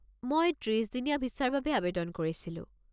মই ত্ৰিছ দিনীয়া ভিছাৰ বাবে আৱেদন কৰিছিলোঁ।